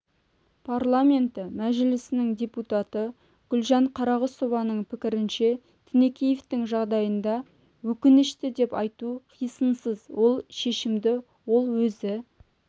парламенті мәжілісінің депутаты гүлжан қарағұсованың пікірінше тінікеевтің жағдайында өкінішті деп айту қисынсыз ол шешімді ол өзі